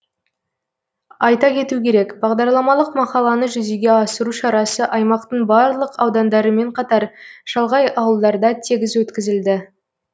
айта кету керек бағдарламалық мақаланы жүзеге асыру шарасы аймақтың барлық аудандарымен қатар шалғай ауылдарда тегіс өткізілді